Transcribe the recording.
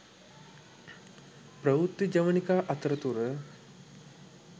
ප්‍රවෘත්ති ජවනිකා අතරතුර